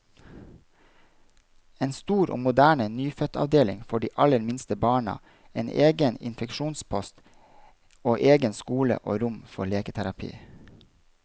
En stor og moderne nyfødtavdeling for de aller minste barna, en egen infeksjonspost, og egen skole og rom for leketerapi.